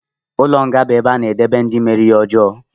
Ụlọ nga bu ebe a na-edebe ndị mere ihe ọjọọ